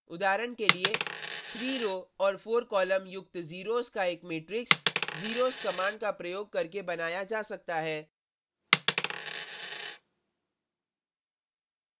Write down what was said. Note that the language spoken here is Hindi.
उदाहरण के लिए 3 रो और 4 कॉलम युक्त ज़ीरोज़ zeros का एक मैट्रिक्स zeros कमांड का प्रयोग करके बनाया जा सकता है